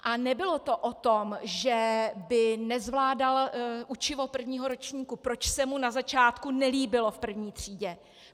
A nebylo to o tom, že by nezvládal učivo prvního ročníku, proč se mu na začátku nelíbilo v první třídě.